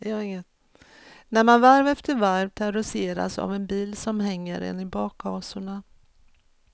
När man varv efter varv terroriseras av en bil som hänger en i bakhasorna.